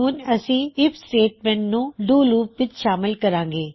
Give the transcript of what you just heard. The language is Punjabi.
ਹੁਣ ਅਸੀਂ ਆਈਐਫ ਸਟੇਟਮੈਂਟ ਨੂੰ ਡੂ ਲੂਪ ਵਿੱਚ ਸ਼ਾਮਲ ਕਰਾਂਗੇ